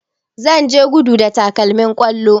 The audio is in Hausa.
Zan je gudu da takalmin kwallo